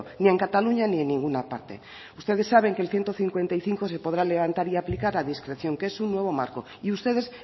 ni en cataluña ni en ninguna parte ustedes saben que el ciento cincuenta y cinco se podrá levantar y aplicar a discreción que es un nuevo marco y ustedes